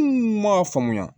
m'a faamuya